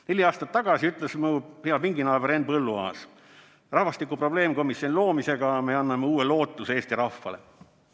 Neli aastat tagasi ütles mu hea pinginaaber Henn Põlluaas: rahvastiku probleemkomisjoni loomisega me anname uue lootuse eesti rahvale.